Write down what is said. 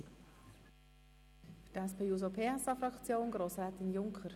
Für die SP-JUSO-PSA-Fraktion spricht nun Grossrätin Junker.